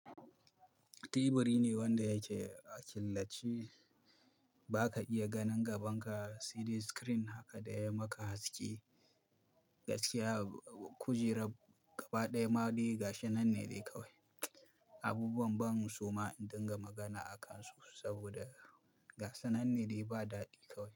Tiburi ne wanda yake a killacce. Ba ka iya ganin gaban ka saidai screen haka da ya maka haske. Gaskiya, kujerar gaba ɗaya maɗe gashinanne dai nan ne dai kawai. Abubuwan ban soma in dinga magana akansu saboda gasa nan ne dai ba daɗi kawai.